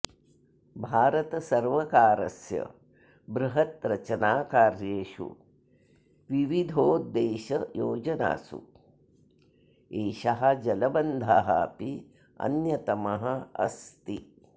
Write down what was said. भारतसर्वकारस्य बृहत् रचनाकार्येषु विविधोद्देशयोजनासु एषः जलबन्धः अपि अन्यतमः अस्ति